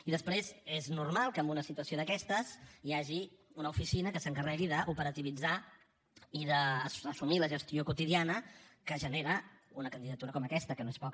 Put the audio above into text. i després és normal que en una situació d’aquestes hi hagi una oficina que s’encarregui d’operativitzar i d’assumir la gestió quotidiana que genera una candidatura com aquesta que no és poca